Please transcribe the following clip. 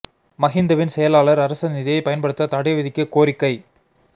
மஹிந்தவின் செயலாளர் அரச நிதியை பயன்படுத்த தடை விதிக்க கோரிக்கை